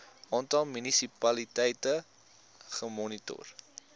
aantal munisipaliteite gemoniteer